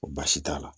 Baasi t'a la